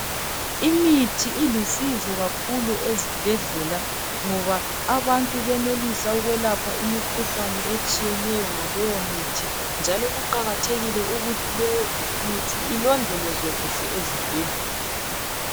Imithi ilusizo kakhulu ezibhedlela ngoba abantu benelisa ukwelapha imikhuhlane etshiyeneyo ngaleyo mithi njalo kuqakathekile ukuthi leyo mithi ilondolozwe kuhle ezibhedlela.